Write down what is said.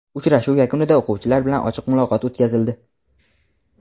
Uchrashuv yakunida o‘quvchilar bilan ochiq muloqot o‘tkazildi.